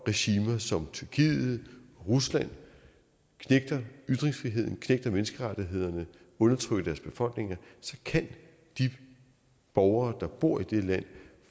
regimer som tyrkiet og rusland knægter ytringsfriheden knægter menneskerettighederne undertrykker deres befolkninger at de borgere der bor i det land